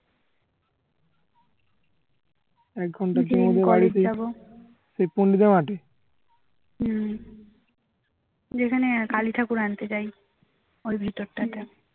হম যেখানে কালী ঠাকুর আনতে যাই ওই ভিতরটাতে